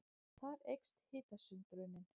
Þar eykst hitasundrunin.